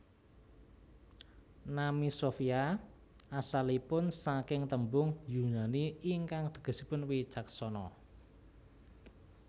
Nami Sofia asalipun saking tembung Yunani ingkang tegesipun wicaksana